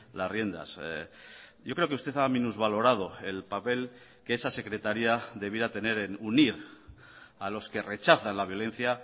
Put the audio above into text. las riendas yo creo que usted ha minusvalorado el papel que esa secretaría debiera tener en unir a los que rechazan la violencia